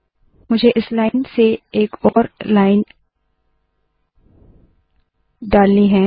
मुझे इस लाइन से एक और लाइन डालनी है